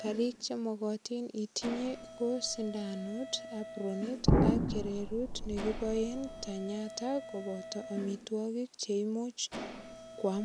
karik che magatin itinye ko sindanut, apronit ak kererut ne kiboen tenyato koboto amitwogik che imuch kwam.